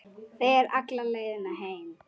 Þegir alla leiðina heim.